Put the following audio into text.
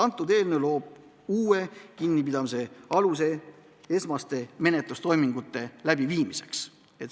See eelnõu loob uue kinnipidamise aluse esmaste menetlustoimingute läbiviimiseks.